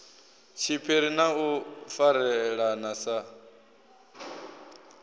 tshiphiri na u farelana sa